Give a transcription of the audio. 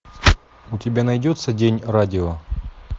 у тебя найдется день радио